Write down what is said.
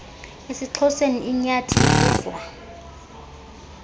esixhoseni inyathi ibuzwa